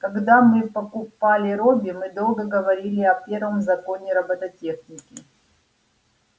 когда мы покупали робби мы долго говорили о первом законе робототехники